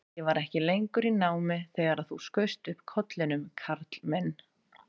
Ég var ekki lengur í námi þegar þú skaust upp kollinum, Karl minn